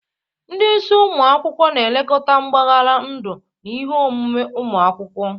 Ndị isi ụmụ akwụkwọ na-elekọta mbaghara ndu na ihe omume ụmụ akwụkwọ.